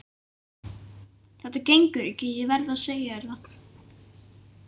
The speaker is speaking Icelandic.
Þetta gengur ekki, ég verð að segja þér það.